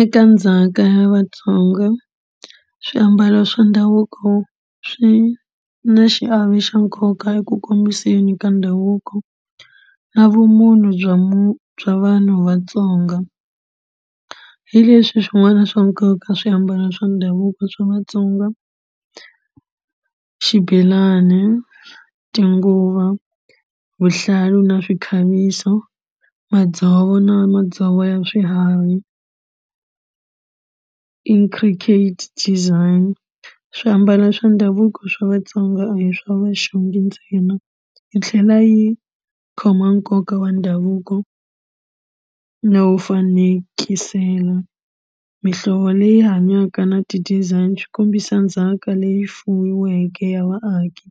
Eka ndzhaka ya Vatsonga swiambalo swa ndhavuko swi na xiave xa nkoka eku khomiseni ka ndhavuko na vumunhu bya bya vanhu vatsonga hi leswi swin'wana swa nkoka swiambalo swa ndhavuko swa Vatsonga xibelani tinguva vuhlalu na swikhaviso madzovo na madzovo ya swiharhi intricate design swiambalo swa ndhavuko swa Vatsonga a hi swa vuxungi ntsena yi tlhela yi khoma nkoka wa ndhavuko no fanekisela mihlovo leyi hanyaka na ti-design swi kombisa ndzhaka leyi fuyiweke ya vaaki